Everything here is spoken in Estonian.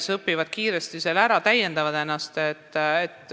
Nad õpivad keele kiiresti ära ja täiendavad ennast.